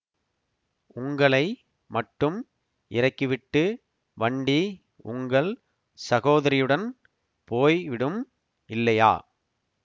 உங்களை மட்டும் இறக்கிவிட்டு வண்டி உங்கள் சகோதரியுடன் போய் விடும் இல்லையா